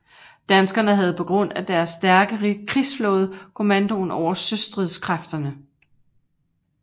Danskerne havde på grund af deres stærke krigsflåde kommandoen over søstridskræfterne